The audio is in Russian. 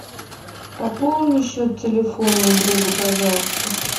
пополни счет телефона у друга пожалуйста